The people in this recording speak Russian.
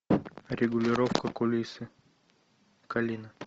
регулировка кулисы калина